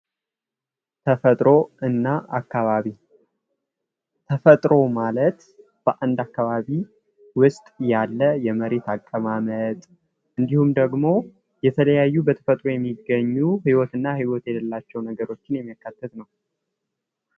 ተፈጥሮ እና አካባቢ ተፈጥሮ ማለት በአንድ አካባቢ ውስጥ ያለ የመሬት አቀማመጥ እንዲሁም ደግሞ የተለያዩ በተፈጥሮ የሚገኙ ህይወትና ህይወት የሌላቸው ነገሮችን የሚያጠቃልል ማለት ነው።